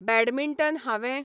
badminton हांवें